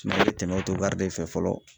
i be tɛmɛ de fɛ fɔlɔ